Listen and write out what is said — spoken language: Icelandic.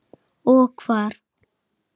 Og hvar.